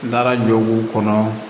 N taara joguw kɔnɔ